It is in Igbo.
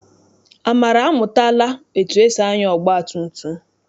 Amara amụtala etu esi anya ọgbatumtum.